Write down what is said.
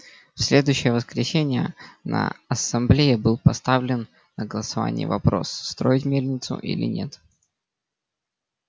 в следующее воскресенье на ассамблее был поставлен на голосование вопрос строить мельницу или нет